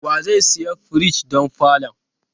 Wa zai siya firij don falon?